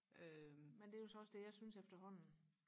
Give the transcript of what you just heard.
men det er jo så også det jeg synes efterhånden